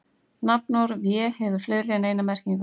Nafnorðið vé hefur fleiri en eina merkingu.